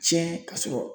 Tiɲɛ ka sɔrɔ